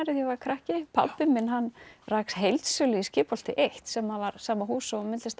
ég var krakki pabbi rak heildsölu í Skipholti einn sem var sama húsi og myndlista